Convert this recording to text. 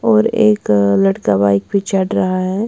और एक लड़का बाइक भी चढ़ रहा है।